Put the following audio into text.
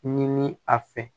Ɲini a fɛ